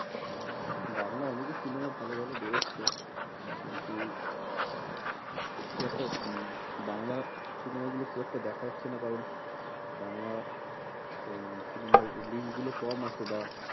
বাংলা অনেকেই cinema ভালো ভালো বেরোচ্ছে। কিন্তু খুব একটা হম বাংলা cinema গুলো খুব একটা দেখা হচ্ছে না কারণ বাংলা উম cinema র link গুলো কম আসে বা